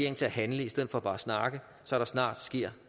til at handle i stedet for bare at snakke så der snart sker